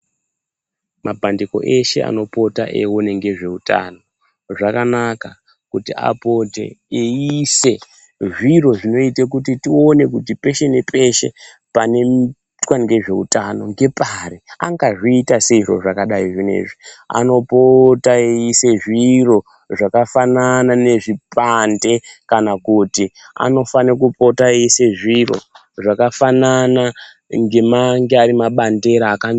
Mapandiko eshe anopota eyiona ngezveutano, zvakanaka kuti apote eyiyise zviro zvinoite kuti tione kuti peshe nepeshe panoyitwa ngezveutano ngepari. Angazviita seiko zviro zvakadari zvino izvi, anopota achiisa zviro zvakafanana nezvipande kana kuti anofanire kupota eiise zviro zvakafanana ngemange ari mabandera